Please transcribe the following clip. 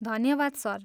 धन्यवाद सर।